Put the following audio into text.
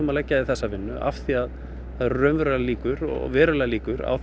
að leggja í þessa vinnu af því að það eru raunverulegar líkur verulegar líkur á